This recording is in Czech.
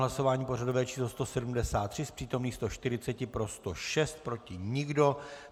Hlasování pořadové číslo 173, z přítomných 140 pro 106, proti nikdo.